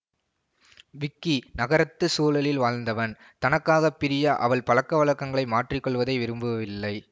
விக்கி நகரத்து சூழலில் வாழ்ந்தவன் தனக்காக பிரியா அவள் பழக்கவழக்கங்களை மாற்றி கொள்வதை விரும்பவில்லை